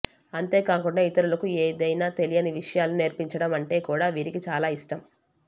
అంతేకాకుండా ఇతరులకు ఏధైనా తెలియని విషయాలను నేర్పించడం అంటే కూడా వీరికి చాలా ఇష్టం